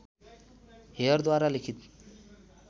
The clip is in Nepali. हेयरद्वारा लिखित